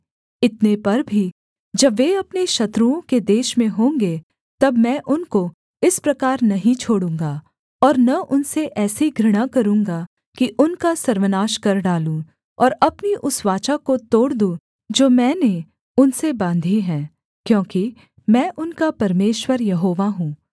इतने पर भी जब वे अपने शत्रुओं के देश में होंगे तब मैं उनको इस प्रकार नहीं छोड़ूँगा और न उनसे ऐसी घृणा करूँगा कि उनका सर्वनाश कर डालूँ और अपनी उस वाचा को तोड़ दूँ जो मैंने उनसे बाँधी है क्योंकि मैं उनका परमेश्वर यहोवा हूँ